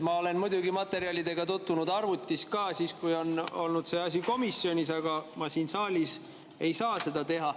Ma olen muidugi materjalidega tutvunud arvutis ka, siis kui see asi oli komisjonis, aga ma siin saalis ei saa seda teha.